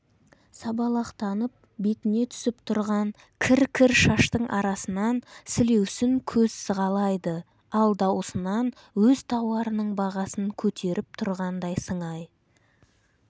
сабалақтанып бетіне түсіп тұрған кір-кір шаштың арасынан сілеусін көз сығалайды ал даусынан өз тауарының бағасын көтеріп тұрғандай сыңай